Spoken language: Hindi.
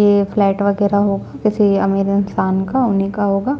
यह फ्लैट वगैरह होगा किसी अमीर इंसान का उन्ही का होगा।